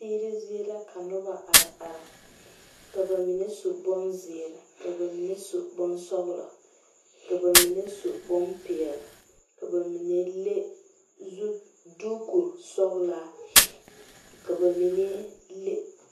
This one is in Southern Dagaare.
Tigri zeɛ la ka nuba arẽ arẽ ka ba menne su bunziiri ka ba mene su bunsɔglɔ ka ba mene su bunpeɛle ka ba mene lɛ duuku sɔglaa ka ba menne.